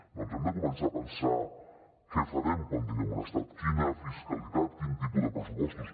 doncs hem de començar a pensar què farem quan tinguem un estat quina fiscalitat quin tipus de pressupostos